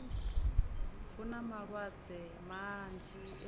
hu na malwadze manzhi e